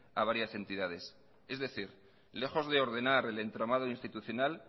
a varias entidades es decir lejos de ordenar el entramado institucional